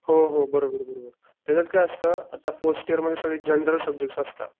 हो हो बरोबर बरोबर त्याच्यात काय असत आता फर्स्ट इयर मध्ये सगळे जनरल सबजेक्ट असता.